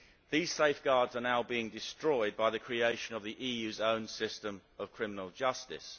These safeguards are now being destroyed by the creation of the EU's own system of criminal justice.